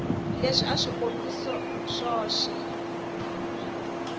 leswi a hi swikombiso swoxe